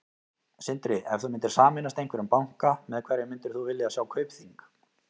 Sindri: Ef þú myndir sameinast einhverjum banka, með hverjum myndir þú vilja sjá Kaupþing?